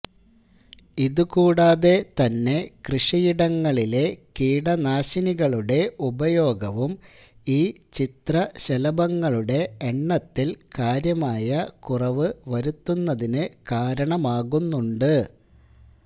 ഇതുകൂടാതെ തന്നെ കൃഷിയിടങ്ങളിലെ കീടനാശിനികളുടെ ഉപയോഗവും ഈ ചിത്രശലഭങ്ങളുടെ എണ്ണത്തില് കാര്യമായ കുറവു വരുത്തുന്നതിനു കാരണമാകുന്നുണ്ട്